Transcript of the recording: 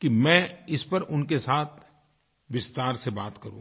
कि मैं इस पर उनके साथ विस्तार से बात करूँ